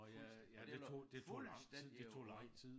Fuldstændig og det var fuldstændig jo